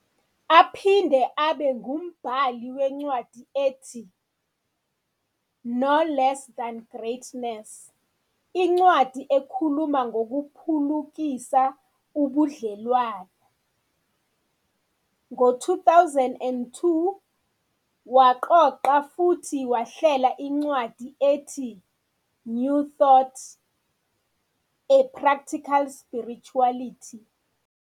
Uphinde abe ngumbhali wencwadi ethi "No Less Than Greatness," incwadi ekhuluma ngokuphulukisa ubudlelwano. Ngo-2002 waqoqa futhi wahlela incwadi ethi "New Thought- A Practical Spirituality."